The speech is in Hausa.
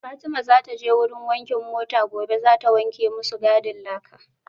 Fatima zataje wurin wankin mota gobe zata wanke masu gadin laka